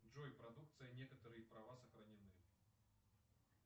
джой продукция некоторые права сохранены